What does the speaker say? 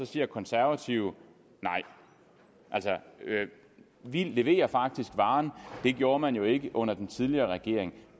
siger konservative nej altså vi leverer faktisk varen det gjorde man jo ikke under den tidligere regering